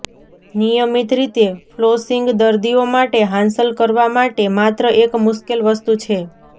નિયમિત રીતે ફ્લોસિંગ દર્દીઓ માટે હાંસલ કરવા માટે માત્ર એક મુશ્કેલ વસ્તુ છે